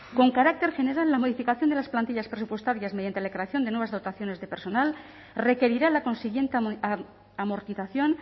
con carácter general la modificación de las plantillas presupuestarias mediante la creación de nuevas dotaciones de personal requerirá la consiguiente amortización